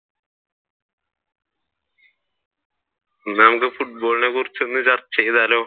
അന്നാ നമ്മുക്ക് football നെ കുറിച്ച് ചർച്ച ചെയ്താലോ?